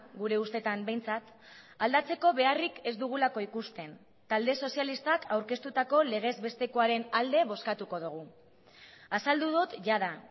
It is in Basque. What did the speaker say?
gure ustetan behintzat aldatzeko beharrik ez dugulako ikusten talde sozialistak aurkeztutako legez bestekoaren alde bozkatuko dugu azaldu dut jada